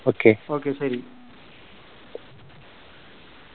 Okay, Okay ശരി.